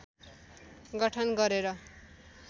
गठन गरेर